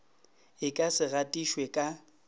e ka se gatišwe ka